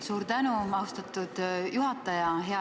Suur tänu, austatud juhataja!